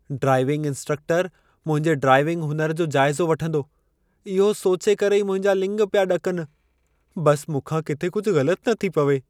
Driving इंस्ट्रक्टरु मुंहिंजे driving हुनर जो जाइज़ो वठंदो, इहो सोचे करे ई मुंहिंजा लिङ पिया ॾकनि। बस मूंखा किथे कुझु ग़लति न थी पवे।